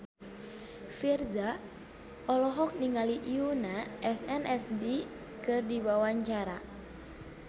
Virzha olohok ningali Yoona SNSD keur diwawancara